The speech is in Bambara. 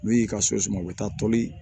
N'u y'i ka so suma u bɛ taa toli